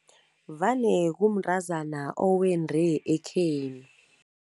Vane kumntrazana owendre ekhenu.